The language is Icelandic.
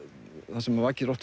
það sem vakir